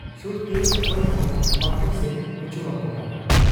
ᱥᱩᱨᱛᱮ ᱚᱠᱚᱭᱦᱚᱸ ᱵᱟᱠᱚ ᱥᱮᱱ ᱚᱪᱚ ᱟᱠᱚ ᱠᱟᱱᱟ ᱾